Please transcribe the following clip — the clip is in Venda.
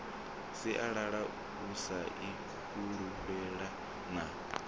sialala u sa ifulufhela na